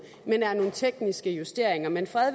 men er nogle tekniske justeringer men fred